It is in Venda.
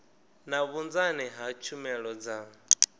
na vhunzani ha tshumelo dza